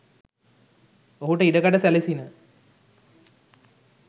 ඔහුට ඉඩකඩ සැලසිණ,